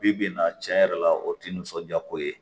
Bi bi in na tiɲɛ yɛrɛ la o tɛ nisɔndiya ko ye